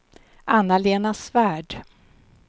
Anna-Lena Svärd